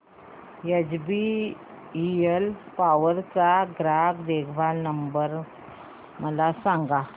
HBL power चा ग्राहक देखभाल नंबर मला सांगा